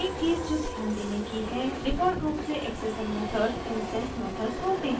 एक चीज़ जो ध्यान देने की है कि डिफ़ॉल्ट रूप से accessor methods इंस्टैंस मेथड्स होते हैं